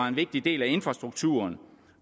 en vigtig del af infrastrukturen